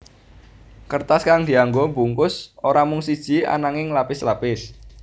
Kertas kang dianggo bungkus ora mung siji ananging lapis lapis